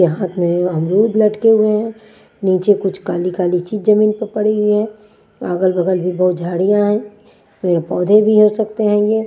हाथ में अमरूद लटके हुए हैं नीचे कुछ काली-काली चीज जमीन पर पड़ी हुई है अगल-बगल भी बहुत झाड़ियाँ हैं पेड़-पौधे भी हो सकते हैं ये।